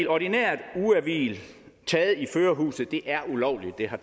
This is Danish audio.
ordinært ugehvil taget i førerhuset er ulovligt det har